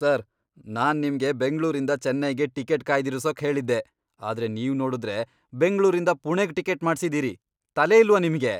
Sir! ನಾನ್ ನಿಮ್ಗೆ ಬೆಂಗ್ಳೂರಿಂದ ಚೆನ್ನೈಗೆ ಟಿಕೆಟ್ ಕಾಯ್ದಿರ್ಸೋಕ್ ಹೇಳಿದ್ದೆ, ಆದ್ರೆ ನೀವ್ ನೋಡುದ್ರೆ ಬೆಂಗ್ಳೂರಿಂದ ಪುಣೆಗ್ ಟಿಕೆಟ್ ಮಾಡ್ಸಿದೀರಿ. ತಲೆ ಇಲ್ವಾ ನಿಮ್ಗೆ?